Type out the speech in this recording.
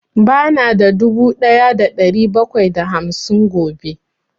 Ba na da dubu ɗaya da ɗari bakwai da hamsin gobe